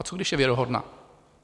A co když je věrohodná?